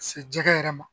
Ka se jɛgɛ yɛrɛ ma